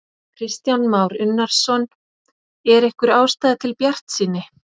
Kristján Már Unnarsson: Er einhver ástæða til bjartsýni?